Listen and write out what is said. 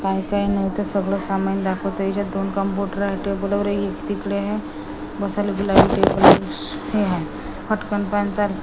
काय ते नाय ते सगळं सामान दाखवते याच्यात दोन कॉम्पुटर आहे टेबल वैगरे तिकडे हे बसायला गुलाबी टेबल्स हे हाय फटकन --